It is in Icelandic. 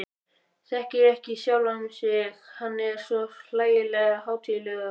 Þekkir ekki sjálfan sig, hann er svo hlægilega hátíðlegur.